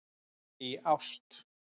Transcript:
Í ást.